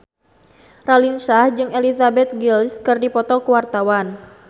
Raline Shah jeung Elizabeth Gillies keur dipoto ku wartawan